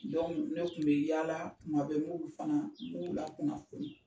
ne kun bɛ yala, kuma bɛ m'olu fana, m'o lakunnafonni.